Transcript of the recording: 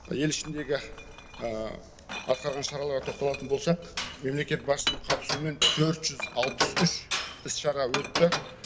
ел ішіндегі атқарған шараларға тоқталатын болсақ мемлекет басшысының қатысуымен төрт жүз алпыс үш іс шара өтті